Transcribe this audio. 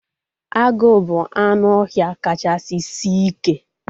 Agụ bụ anụ ọhịa kachasị sie ike